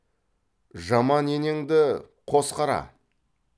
жаман енеңді қос қара